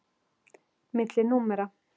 Milli númera.